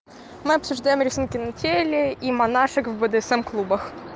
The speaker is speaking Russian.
мы обсуждаем рисунки на теле и монашек в бдсм клубах